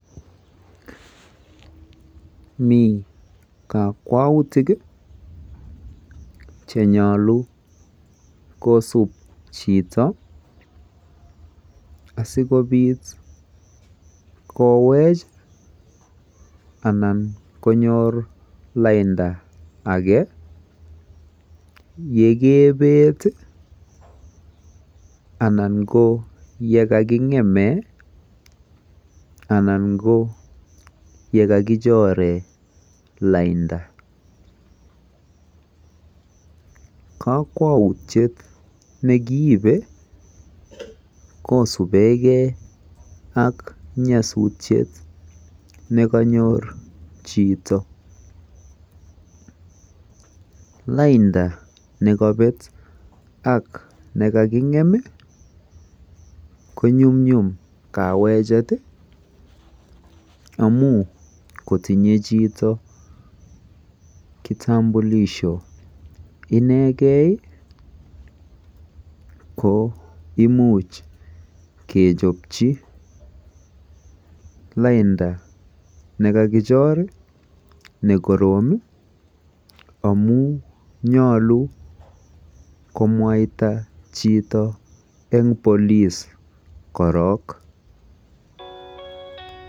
Mi kakwoutik chenyolu koib chito asikobit kowech anan konyor lainda ake yekebeet anan keng'eme anan ko yekakechore lainda. Kokwoutiet nekiibe kosubikei ak nyasutiet nekanyor chito. Lainda nekabet ak nekakeng'em konyumnyum kawejet amu kotinyei chito kitambulisho inekei ko imuch kejobchi lainda. Nekakichor nekorom amu nyolu komwaita chito eng polis korook.